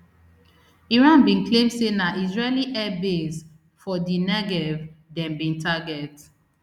iran bin claim say na israeli airbase for di negev dem bin target